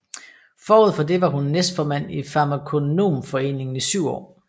Forud for det var hun næstformand i Farmakonomforeningen i syv år